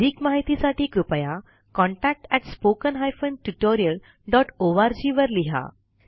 अधिक माहितीसाठी कृपया contactspoken tutorialorg वर लिहा